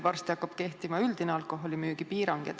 Varsti hakkab kehtima üldine alkoholimüügi piirang.